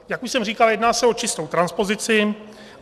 Jak už jsem říkal, jedná se o čistou transpozici.